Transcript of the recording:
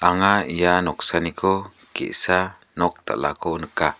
anga ia noksaniko ge·sa nok dal·ako nika.